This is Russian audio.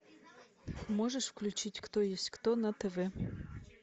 можешь включить кто есть кто на тв